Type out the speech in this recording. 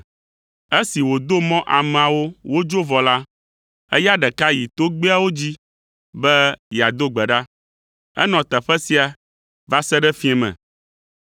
Esi wòdo mɔ ameawo wodzo vɔ la, eya ɖeka yi togbɛawo dzi be yeado gbe ɖa. Enɔ teƒe sia va se ɖe fiẽ me,